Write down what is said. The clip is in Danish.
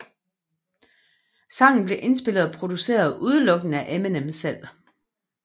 Sangen blev indspillet og produceret udelukkende af Eminem selv